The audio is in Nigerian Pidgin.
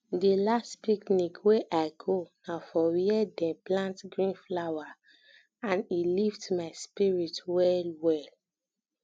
di last picnic wey i go na for where dem plant green flower and e lift my spirit well well